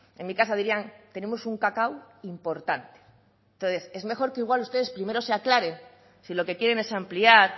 en mi casa dirían tenemos un cacao importante es mejor que igual ustedes primero se aclaren si lo que quieren es ampliar